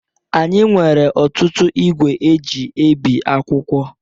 Anyị nwere ọtụtụ igwe eji ebi akwụkwọ